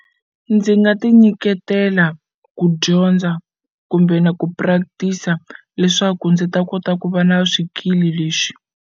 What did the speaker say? Ndzi nga ti nyiketela ku dyondza kumbe na ku practice-a leswaku ndzi ta kota ku va na swikili leswi.